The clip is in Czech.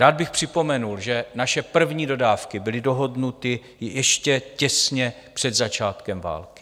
Rád bych připomněl, že naše první dodávky byly dohodnuty ještě těsně před začátkem války.